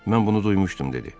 Mən bunu duymuşdum dedi.